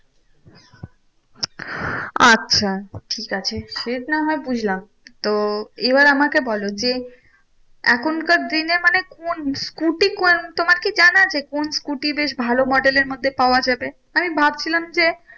আচ্ছা, ঠিক আছে সে না হয় বুঝলাম। তো এবার আমাকে বলো যে, এখনকার দিনে মানে কোন scooter তোমার কি জানা আছে? কোন scooter বেশ ভালো model এর মধ্যে পাওয়া যাবে? আমি ভাবছিলাম যে,